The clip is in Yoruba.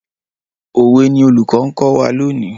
Òwe ni olùkọ́ ń kọ́ wa lónìí.